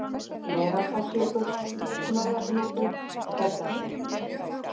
Kotárborgir, Glerárdalsjökull, Snorragnúpur, Tröllaskeið